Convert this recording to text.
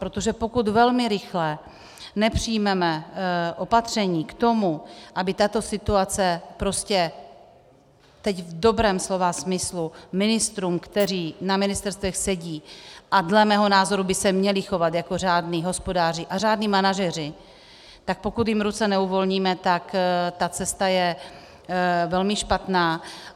Protože pokud velmi rychle nepřijmeme opatření k tomu, aby tato situace prostě, teď v dobrém slova smyslu, ministrům, kteří na ministerstvech sedí a dle mého názoru by se měli chovat jako řádní hospodáři a řádní manažeři, tak pokud jim ruce neuvolníme, tak ta cesta je velmi špatná.